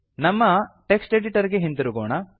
ನಮ್ಮ text editor ಗೆ ಹಿಂತಿರುಗೋಣ